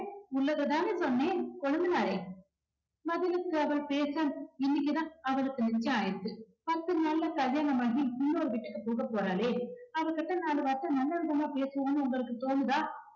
உள்ளத தானே சொன்னேன் கொழுந்தனாரே பதிலுக்கு அவ பேச இன்னைக்கு தான் அவளுக்கு நிச்சயம் ஆயிருக்கு பத்து நாளுல கல்யாணம் ஆகி இன்னொரு வீட்டுக்கு போக போறாளே அவகிட்ட நாலு வார்த்தை நல்லவிதமா பேசுவோம்னு உங்களுக்கு தோணுதா